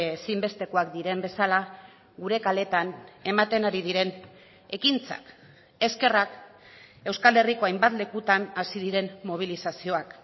ezinbestekoak diren bezala gure kaleetan ematen ari diren ekintzak eskerrak euskal herriko hainbat lekutan hasi diren mobilizazioak